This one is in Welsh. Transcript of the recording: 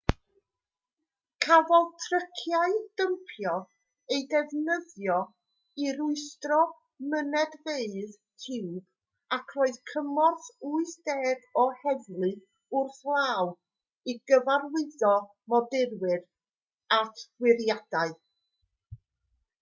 cafodd tryciau dympio eu defnyddio i rwystro mynedfeydd tiwb ac roedd cymorth 80 o heddlu wrth law i gyfarwyddo modurwyr at wyriadau